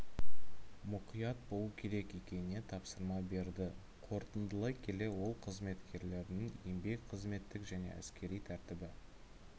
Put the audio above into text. мұқият болу керек екеніне тапсырма берді қорытындылай келе ол қызметкерлерінің еңбек қызметтік және әскери тәртібі